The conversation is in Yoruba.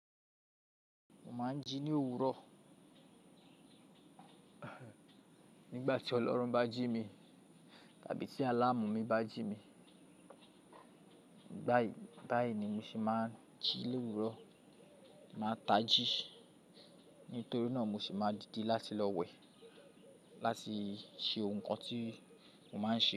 Mo máa ń jí ní òwúrọ̀ nígbà tí ọlọ́run bá jí mi tàbí tí àlàmú mi bá jí mi. Báyìí, báyìí ni mo sì máa ń jí lóòwúrọ̀. Má tají. Nítorí náà mo sì máa dide láti lọ wẹ̀, láti ṣe ohun kan tí mo máa ń ṣe.